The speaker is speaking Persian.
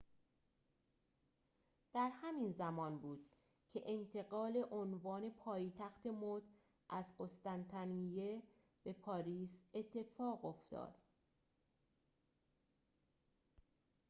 در همین زمان بود که انتقال عنوان پایتخت مد از قسطنطنیه به پاریس اتفاق افتاد